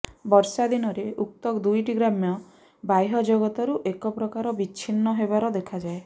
ବର୍ଷାଦିନରେ ଉକ୍ତ ଦୁଇଟି ଗ୍ରାମ ବାହ୍ୟ ଜଗତରୁ ଏକ ପ୍ରକାର ବିଚ୍ଛିନ୍ନ ହେବାର ଦେଖାଯାଏ